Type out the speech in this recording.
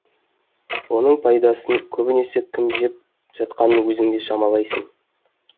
оның пайдасын көбінесе кім жеп жатқанын өзің де шамалайсың